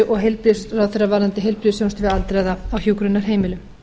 og heilbrigðisráðherra varðandi heilbrigðisþjónustu við aldraða á hjúkrunarheimilum